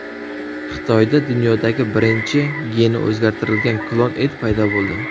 Xitoyda dunyodagi birinchi geni o‘zgartirilgan klon it paydo bo‘ldi.